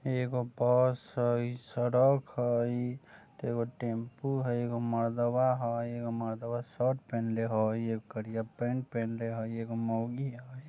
एगो बस हय इ सड़क हय ते एगो टेंपू हय एगो मर्दवा हय एगो मर्दवा शर्ट पहिंले हय एगो करिया पैंट पहिनले हय एगो मोगी हय।